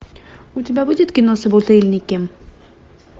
у тебя будет кино собутыльники